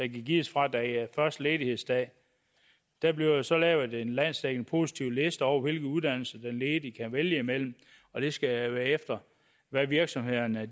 gives fra den første ledighedsdag der bliver så lavet en landsdækkende positivliste over hvilke uddannelser den ledige kan vælge imellem og det skal være efter hvad virksomhederne